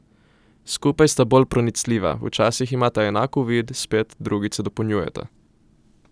Skupaj sta bolj pronicljiva, včasih imata enak uvid, spet drugič se dopolnjujeta.